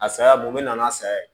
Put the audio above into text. A saya bo n bɛ na n'a sa ye